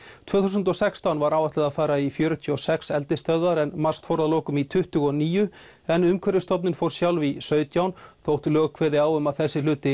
tvö þúsund og sextán var áætlað að fara í fjörutíu og sex eldisstöðvar en MAST fór að lokum í tuttugu og níu en Umhverfisstofnun fór sjálf í sautján þótt lög kveði á um að þessi hluti